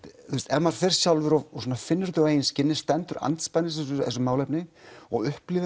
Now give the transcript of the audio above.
ef maður fer sjálfur og finnur þetta á eigin skinni stendur andspænis þessu málefni og upplifir